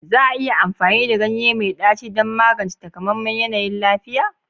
Za a iya amfani da ganye mai ɗaci don magance takamaiman yanayin lafiya?